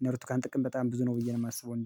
እነ ብርቱካን ጥቅም በጣም ብዙ ነው ብዬ ነው የማስበው። እንደኔ